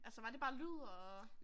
Altså var det bare lyd og?